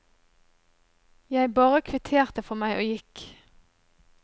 Jeg bare kvitterte for meg, og gikk.